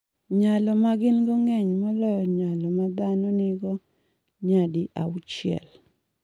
Nyalo ma gin-go ng’eny moloyo nyalo ma dhano nigo nyadi auchiel.